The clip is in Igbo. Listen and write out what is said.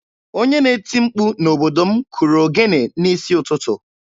Onye na-eti mkpu n'obodo m kụrụ ogene n'isi ụtụtụ.